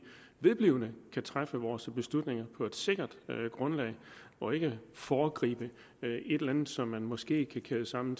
vedblivende kan træffe vores beslutninger på et sikkert grundlag og ikke foregriber et eller andet som man måske kan kæde sammen